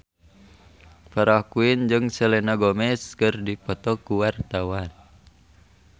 Farah Quinn jeung Selena Gomez keur dipoto ku wartawan